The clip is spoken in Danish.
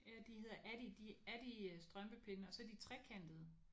Ja de hedder Addi Addi strømpepinde og så er de trekantede